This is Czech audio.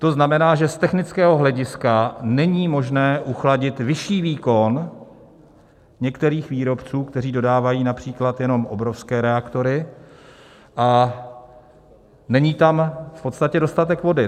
To znamená, že z technického hlediska není možné uchladit vyšší výkon některých výrobců, kteří dodávají například jenom obrovské reaktory, a není tam v podstatě dostatek vody.